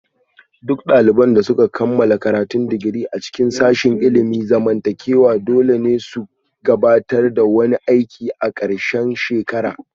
Duk daliban da suka kammala karatun digiri a cikin sashin ilimin zamantakewa dole ne su gabatar da wani aiki a ƙarshen shekara